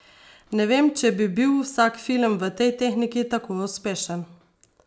Ne vem, če bi bil vsak film v tej tehniki tako uspešen.